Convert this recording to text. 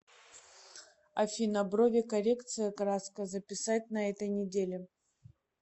афина брови коррекция краска записать на этой неделе